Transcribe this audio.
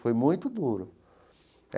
Foi muito duro.